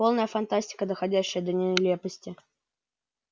полная фантастика доходящая до нелепости